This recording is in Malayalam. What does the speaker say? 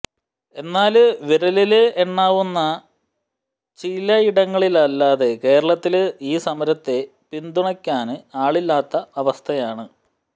എന്നാല് വിരലില് എണ്ണാവുന്ന ചിലയിടങ്ങളിലല്ലാതെ കേരളത്തില് ഈ സമരത്തെ പിന്തുണയ്ക്കാന് ആളില്ലാത്ത അവസ്ഥയാണ്